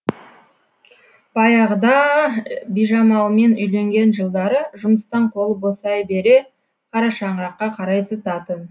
баяғыда а бижамалмен үйленген жылдары жұмыстан қолы босай бере қара шаңыраққа қарай зытатын